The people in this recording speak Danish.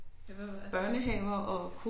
Ja hvad var